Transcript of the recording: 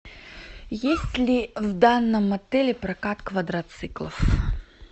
есть ли в данном отеле прокат квадроциклов